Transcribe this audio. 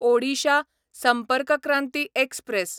Odisha Sampark Kranti express